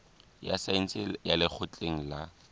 ya saense ya lekgotleng la